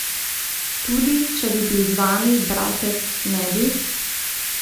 Tudi, če bi bil z vami bratec, ne bi?